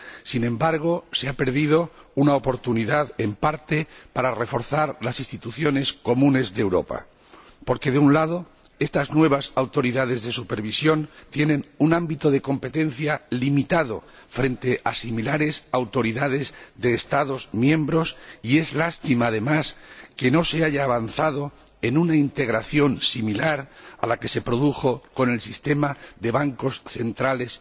Sin embargo, se ha perdido una oportunidad, en parte, para reforzar las instituciones comunes de Europa, porque, de un lado, estas nuevas autoridades de supervisión tienen un ámbito de competencia limitado frente a similares autoridades de Estados miembros, y es una lástima, además, que no se haya avanzado en una integración similar a la que se produjo con el Sistema Europeo de Bancos Centrales.